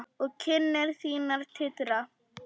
Og kinnar þínar titra.